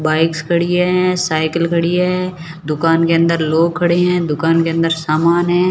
Bikes खड़ी है cycle खड़ी है दुकान के अंदर लोग खड़े हैं दुकान के अंदर सामान है।